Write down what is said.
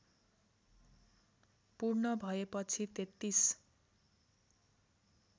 पूर्ण भएपछि तेत्तीस